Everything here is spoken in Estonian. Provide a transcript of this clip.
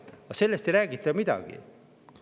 Aga sellest ei räägita midagi.